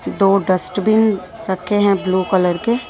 दो dust bin रखे हैंब्लू कलर के --